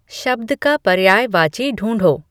शब्द का पर्यायवाची ढूँढो